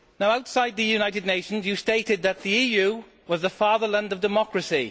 Outside the United Nations you stated that the EU was the fatherland of democracy.